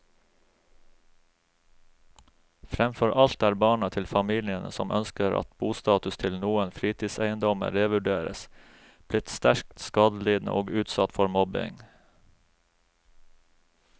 Fremfor alt er barna til familiene som ønsker at bostatus til noen fritidseiendommer revurderes, blitt sterkt skadelidende og utsatt for mobbing.